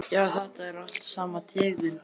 Já, þetta er allt sama tegund.